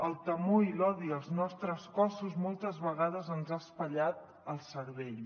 el temor i l’odi als nostres cossos moltes vegades ens han espatllat el cervell